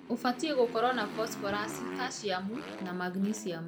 ũbatie gũkoro na bosborasi ,kaciamu na magniciamu.